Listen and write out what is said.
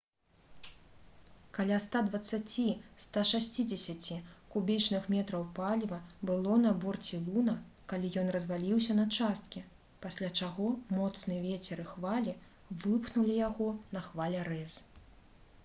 каля 120–160 кубічных метраў паліва было на борце «луна» калі ён разваліўся на часткі пасля чаго моцны вецер і хвалі выпхнулі яго на хвалярэз